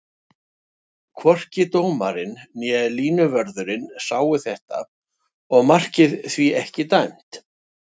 Hvorki dómarinn né línuvörðurinn sáu þetta og markið því ekki dæmt.